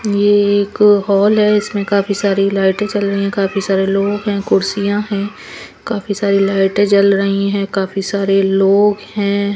ये एक हॉल है इसमें काफी सारी लाइटें चल रही हैं काफी सारे लोग हैं कुर्सियां हैं काफी सारी लाइटें जल रही हैं काफी सारे लोग हैं.